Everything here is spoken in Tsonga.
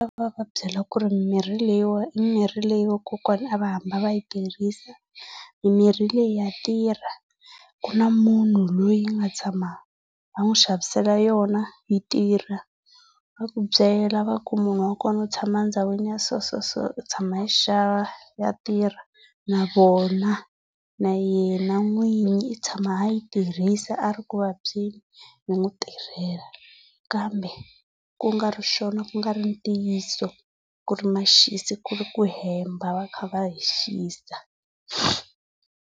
byela ku ri mimirhi leyi i mimirhi leyi vakokwana a va hamba va yi tirhisa, mimirhi leyi ya tirha. Ku na munhu loyi a nga tshama a n'wi xavisela yona yi tirha. Va ku byela va ku byela va ku munhu wa kona u tshama ndhawini ya so so so u tshama a yi xava ya tirha. Na vona na yena n'wini i tshama a yi tirhisa a ri ku vabyeni yi n'wi tirhela. Kambe ku nga ri swona ku nga ri ntiyiso. Ku ri maxisi ku ri ku hemba va kha va hi xisa. navona na yina nwinyi i tshama ayi tirhisa ari nkwalayo b mutirhela kambe kungari xona kungari ntiyiso ku ri maxaviselo ekule ku hemba vakhale vashavisa